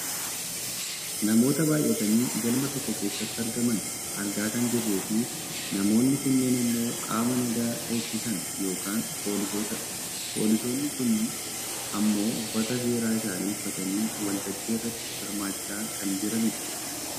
namoota baayyatanii galma tokko keessatti argaman argaa kan jirruu fi namoonni kunneen ammoo qaama nagaa eegisisan yookaan poolisootadha. poolisoonni kunneen ammoo uffata seeraa isaanii uffatanii wal tajjii irratti hirmaachaa kan jiranidha.